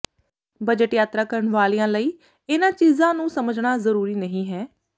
budget ਯਾਤਰਾ ਕਰਨ ਵਾਲਿਆਂ ਲਈ ਇਹਨਾਂ ਚੀਜ਼ਾਂ ਨੂੰ ਸਮਝਣਾ ਜ਼ਰੂਰੀ ਨਹੀਂ ਹੈ